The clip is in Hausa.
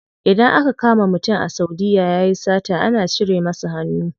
Idan aka kama mutum a saudiya yayi sata ana cire masa hannu.